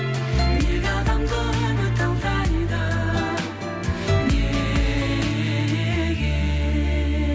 неге адамды үміт алдайды неге